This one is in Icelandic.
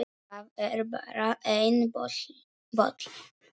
Það er bara einn bolli!